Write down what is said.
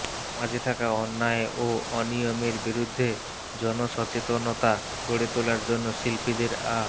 সমাজে থাকা অন্যায় ও অনিয়মের বিরুদ্ধে জনসচেতনতা গড়ে তোলার জন্য শিল্পীদের আ